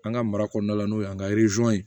An ka mara kɔnɔna la n'o y'an ka